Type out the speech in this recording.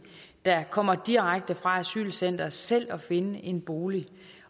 der kommer direkte fra asylcentret selv at finde en bolig